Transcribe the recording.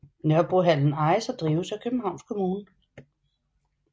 Nørrebrohallen ejes og drives af Københavns Kommune